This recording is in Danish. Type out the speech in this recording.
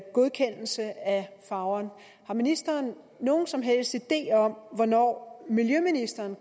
godkendelse af farver har ministeren nogen som helst idé om hvornår miljøministeren